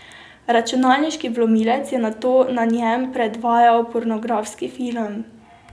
Računalniški vlomilec je nato na njem predvajal pornografski film.